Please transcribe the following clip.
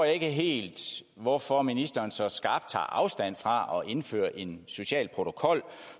ikke helt hvorfor ministeren så skarpt tager afstand fra at indføre en social protokol